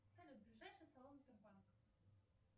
салют ближайший салон сбербанка